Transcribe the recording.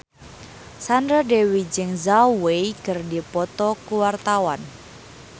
Sandra Dewi jeung Zhao Wei keur dipoto ku wartawan